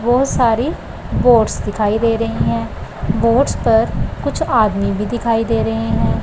बहोत सारी बोट्स दिखाइ दे रही हैं बोट्स पर कुछ आदमी भी दिखाइ दे रहे हैं।